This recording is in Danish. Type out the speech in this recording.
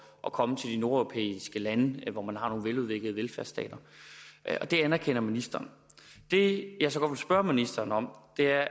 at komme til de nordeuropæiske lande hvor man har nogle veludviklede velfærdsstater det anerkender ministeren det jeg så godt vil spørge ministeren om er